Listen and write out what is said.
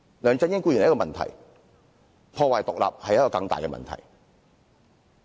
梁振英固然是一個問題，但破壞獨立是更大的問題。